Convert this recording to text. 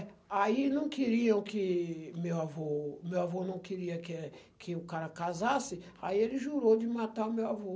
É. Aí não queriam que meu avô... O meu avô não queria que, eh, que o cara casasse, aí ele jurou de matar o meu avô.